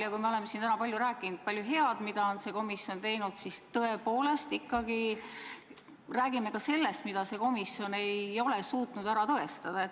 Ja kui me oleme täna enamasti rääkinud paljust heast, mida on see komisjon teinud, siis ikkagi räägime ka sellest, mida see komisjon ei ole suutnud ära tõestada.